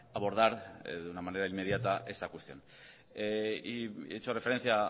abordar de una manera inmediata esta cuestión y he hecho referencia